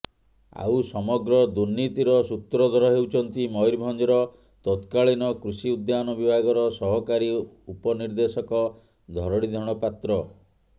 ଆଉ ସମଗ୍ର ଦୁର୍ନୀତିର ସୂତ୍ରଧର ହେଉଛନ୍ତି ମୟୁରଭଞ୍ଜର ତତ୍କାଳୀନ କୃଷି ଉଦ୍ୟାନ ବିଭାଗର ସହକାରୀ ଉପନିର୍ଦ୍ଦେଶକ ଧରଣୀଧର ପାତ୍ର